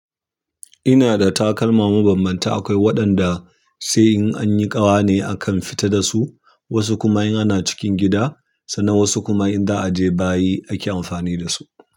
Ina da takalma mabambanta, akwai waɗanda sai in an yi ƙawa ne akan fita dasu, wasu kuma in ana cikin gida, sannan wasu kuma in za a je bayi ake amfani dasu.